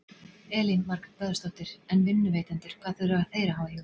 Elín Margrét Böðvarsdóttir: En vinnuveitendur hvað þurfa þeir að hafa í huga?